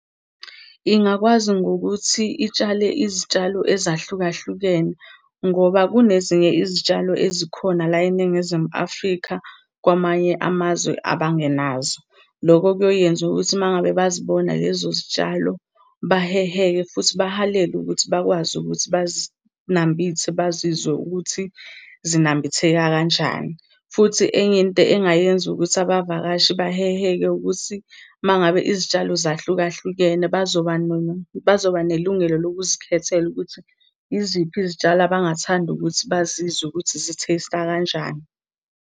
Ingakwazi ngokuthi itshale izitshalo ezahlukahlukene ngoba kunezinye izitshalo ezikhona la eNingizimu Afrika kwamanye amazwe abangenazo. Loko kuyoyenza ukuthi uma ngabe bazibona lezo zitshalo baheheke, futhi bahalele ukuthi bakwazi ukuthi bazinambithe bazizwe ukuthi zinambitheka kanjani. Futhi enye into engayenza ukuthi abavakashi baheheke ukuthi uma ngabe izitshalo zahlukahlukene, bazoba bazoba nelungelo lokuzikhethela ukuthi iziphi izitshalo abangathanda ukuthi bazizwe ukuthi zi-taste-a kanjani.